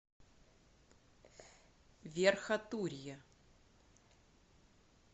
верхотурье